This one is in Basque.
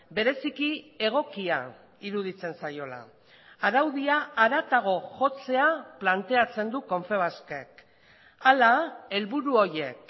bereziki egokia iruditzen zaiola araudia haratago jotzea planteatzen du confebaskek hala helburu horiek